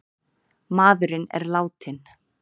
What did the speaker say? Maðurinn er látinn